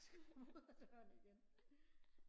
vi tager den igen